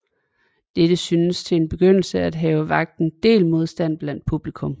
Dette synes til en begyndelse at have vakt en del modstand blandt publikum